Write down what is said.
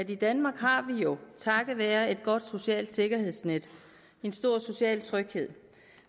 i danmark har vi jo takket være et godt socialt sikkerhedsnet en stor social tryghed